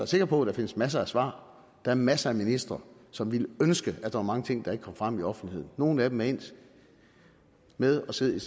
sikker på at der findes masser af svar der er masser af ministre som ville ønske at der var mange ting der ikke kom frem i offentligheden nogle af dem er endt med at sidde